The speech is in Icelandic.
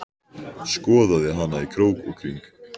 Skoðaði hana í krók og kring.